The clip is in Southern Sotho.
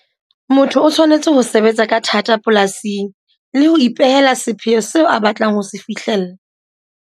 Motho o tshwanetse ho sebetsa ka thata polasing le ho ipehela sepheo seo a batlang ho se fihlella.